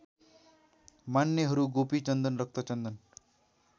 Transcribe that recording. मान्नेहरू गोपीचन्दन रक्तचन्दन